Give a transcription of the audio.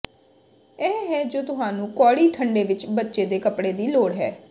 ਇਹ ਹੈ ਜੋ ਤੁਹਾਨੂੰ ਕੌੜੀ ਠੰਡੇ ਵਿੱਚ ਬੱਚੇ ਦੇ ਕੱਪੜੇ ਦੀ ਲੋੜ ਹੈ